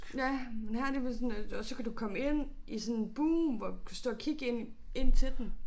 Ja men her der bliver sådan lidt og så kan du komme ind i sådan bue hvor kan stå og kigge ind ind til dem